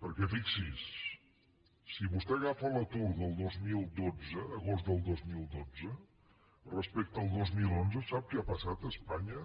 perquè fixi’s si vostè agafa l’atur del dos mil dotze agost del dos mil dotze respecte al dos mil onze sap què ha passat a espanya